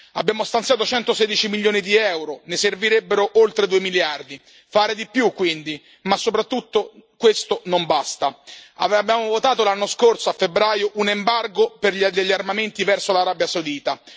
Abbiamo stanziato 116 milioni di euro, ma ne servirebbero oltre 2 miliardi. Fare di più, quindi, ma soprattutto questo non basta. Abbiamo votato l'anno scorso, a febbraio, un embargo sugli armamenti verso l'Arabia Saudita.